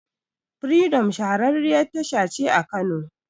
Firidom shahararriyar tasha ce a Kano.